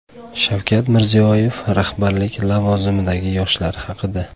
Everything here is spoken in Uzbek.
Shavkat Mirziyoyev rahbarlik lavozimidagi yoshlar haqida.